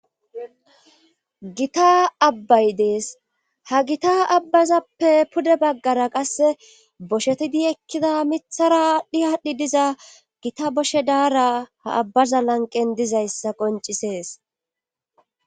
Gita abbay dees ha gita abbazappe pude baggara qasse boshetidi ekkida mithara dhi haadhdhi diza gita boshe daara ha abbaza lanqen dizayssa qoncisees